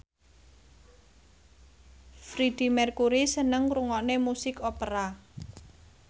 Freedie Mercury seneng ngrungokne musik opera